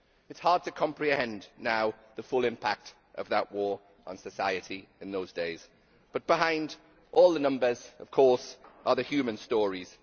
It is hard to comprehend now the full impact of that war on society in those days, but behind all the numbers of course are the human stories.